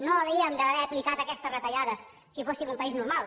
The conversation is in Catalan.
no havíem d’haver aplicat aquestes retallades si fóssim un país normal